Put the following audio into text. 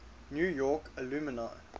new york alumni